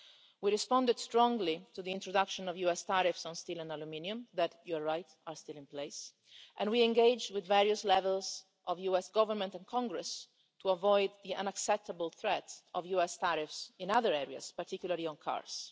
We responded strongly to the introduction of the US tariffs on steel and aluminium that, as you rightly say, are still in place, and we are engaging with various levels of the US Government and Congress to avoid the unacceptable threats of US tariffs in other areas, particularly on cars.